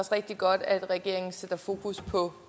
rigtig godt at regeringen sætter fokus på